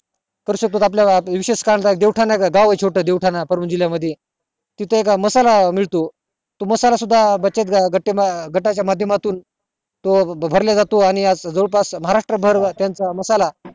करू शकतोत विशेष आपलं जीवठाणा गाव ये छोटं जीवठाणा परम जिल्हा मध्ये तिथे एक मसाला मिळतो तो मसाला सुद्धा बचत गटा च्या मध्य मातुन तो आज जवळ पास महाराष्ट्र भर त्याचा मसाला